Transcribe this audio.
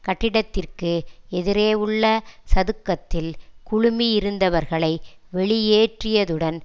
கட்டிடத்திற்கு எதிரே உள்ள சதுக்கத்தில் குழுமியிருந்தவர்களை வெளியேற்றியதுடன்